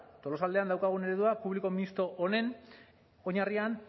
tolosaldean daukagun eredua publiko misto honen oinarrian